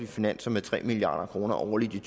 finanser med tre milliard kroner årligt i